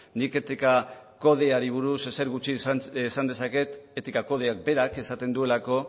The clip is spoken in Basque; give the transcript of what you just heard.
nik etika kodeari buruz ezer gutxi esan dezaket etika kodeak berak esaten duelako